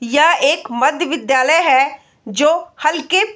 यह एक मध्यविद्यालय है जो हल्के --